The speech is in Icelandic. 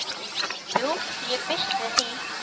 Jú, ég býst við því